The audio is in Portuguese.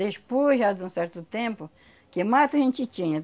Despois já de um certo tempo, que mato a gente tinha.